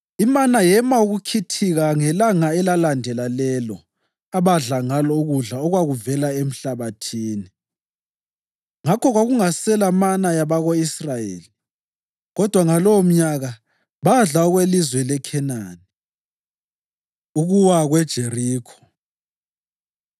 Imana yema ukukhithika ngelanga elalandela lelo abadla ngalo ukudla okwakuvela emhlabathini; ngakho kwakungasela mana yabako-Israyeli, kodwa ngalowomnyaka badla okwelizwe leKhenani. Ukuwa KweJerikho